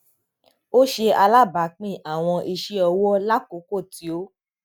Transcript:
o ṣe alabaapin awọn iṣẹọwọ lakooko ti o